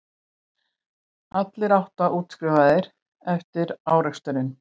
Allir átta útskrifaðir eftir áreksturinn